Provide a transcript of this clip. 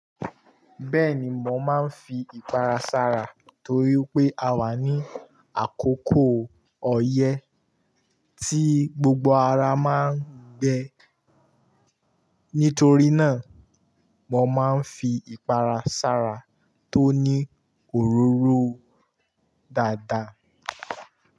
Bẹ́ẹ̀ni, mo máa ń fi ìpara sára torí pé a wà ní àkókò ọyẹ́ tí gbogbo ara máa ń gbẹ. Nítorí náà, mo máa ń fi ìpara sára tó ní òróró dáadáa.